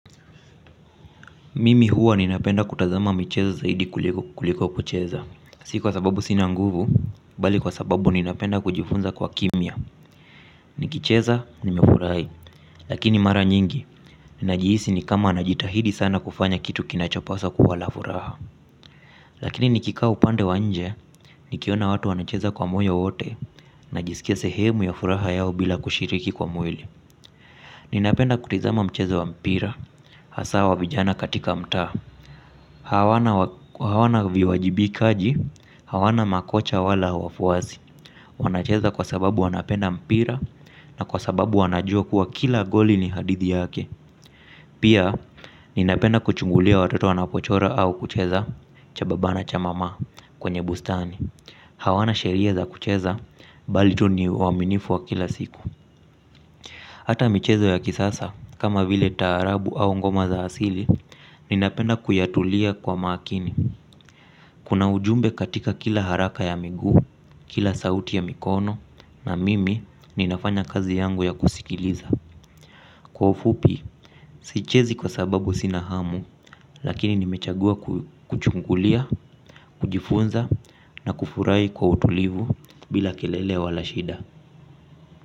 Mimi huwa ninapenda kutazama michezo zaidi kuliko kucheza. Si kwa sababu sina nguvu, bali kwa sababu ninapenda kujifunza kwa kimya nikicheza nimefurahi lakini mara nyingi ninajihisi ni kama najitahidi sana kufanya kitu kinachopaswa kuwa la furaha. Lakini nikikaa upande wa nje, nikiona watu wanacheza kwa moyo wote. Najisikia sehemu ya furaha yao bila kushiriki kwa mwili. Ninapenda kutazama mchezo wa mpira hasa wa vijana katika mtaa hawana. Hawana viwajibikaji, hawana makocha wala wafuasi. Wanacheza kwa sababu wanapenda mpira na kwa sababu wanajua kuwa kila goli ni hadithi yake. Pia ninapenda kuchungulia watoto wanapochora au kucheza cha baba na cha mama kwenye bustani. Hawana sheria za kucheza bali tu ni uaminifu wa kila siku. Hata michezo ya kisasa kama vile taarabu au ngoma za asili. Ninapenda kuyatulia kwa makini. Kuna ujumbe katika kila haraka ya miguu, kila sauti ya mikono na mimi ninafanya kazi yangu ya kusikiliza. Kwa ufupi, sichezi kwa sababu sina hamu lakini nimechagua kuchungulia, kujifunza na kufurahi kwa utulivu bila kelele wala shida.